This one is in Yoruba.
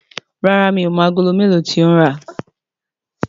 ràrá mi'o mọ Àgòló melo tí o ń rá.